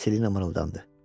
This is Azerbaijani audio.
Selina mırıldandı.